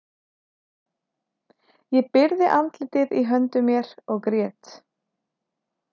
Ég byrgði andlitið í höndum mér og grét.